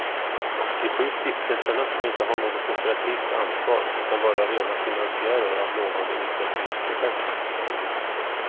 De sju stiftelserna ska inte ha något operativt ansvar utan vara rena finansiärer av lovande utvecklingsprojekt.